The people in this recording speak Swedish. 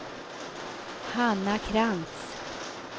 Hanna Krantz